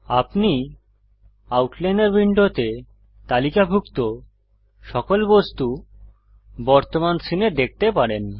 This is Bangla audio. আপনি আউটলাইনর উইন্ডোতে তালিকাভুক্ত সকল বস্তু বর্তমান সীনে দেখতে পারেন